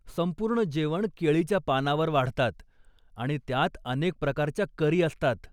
संपूर्ण जेवण केळीच्या पानावर वाढतात आणि त्यात अनेक प्रकारच्या करी असतात.